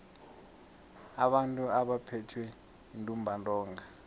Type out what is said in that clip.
abantu abaphethwe yintumbantonga